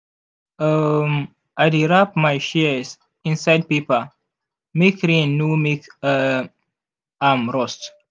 um i dey wrap my shears inside paper make rain no make um am rust.